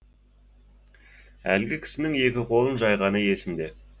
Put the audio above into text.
әлгі кісінің екі қолын жайғаны есімде